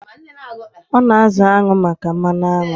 Ọ na-azụ añụ maka mmanụ aṅụ.